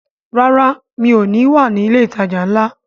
Rárá, mi ò ní wà ní ilé ìtajà ńlá